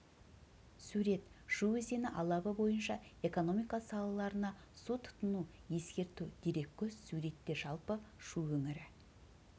сурет шу өзені алабы бойынша экономика салаларына су тұтыну ескерту дереккөз суретте жалпы шу өңірі